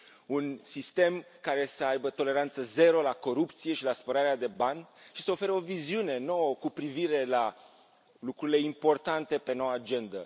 un sistem care să aibă toleranță zero la corupție și la spălarea de bani și să ofere o viziune nouă cu privire la lucrurile importante de pe noua agendă.